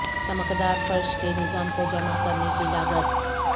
چمکدار فرش کے نظام کو جمع کرنے کی لاگت